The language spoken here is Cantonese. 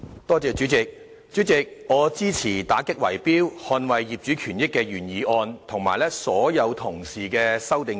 代理主席，我支持"打擊圍標，捍衞業主權益"的原議案和所有修正案。